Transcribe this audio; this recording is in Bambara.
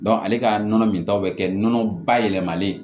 ale ka nɔnɔ min ta bɛ kɛ nɔnɔ bayɛlɛmalen ye